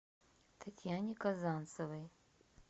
татьяне казанцевой